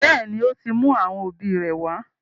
Béèni, o tí mú àwọn òbí ré wá.